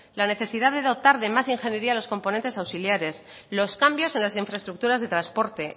la necesidad de dotar de más ingeniería a los componentes auxiliares los cambios en las infraestructuras de transporte